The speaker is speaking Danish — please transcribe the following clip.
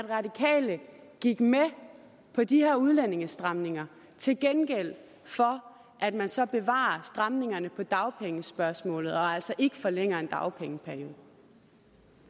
radikale gik med på de her udlændingestramninger til gengæld for at man så bevarer stramningerne i dagpengespørgsmålet og altså ikke forlænger en dagpengeperiode